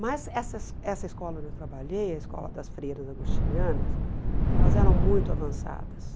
Mas essa es essa escola onde eu trabalhei, a escola das freiras agostinianas, elas eram muito avançadas.